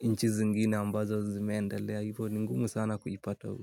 nchi zingine ambazo zimeendelea. Hivo ni ngumu sana kuipata huku.